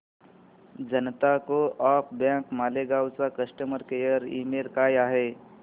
जनता co op bank Malegaon चा customer care email काय आहे